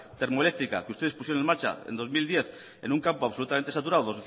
termoeléctrica que ustedes pusieron en marcha en dos mil diez en un campo absolutamente saturado